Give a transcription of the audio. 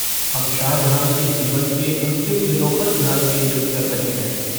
हम शाह जहान के जीवन के अंतिम दिनों पर ध्यान केंद्रित कर रहे हैं।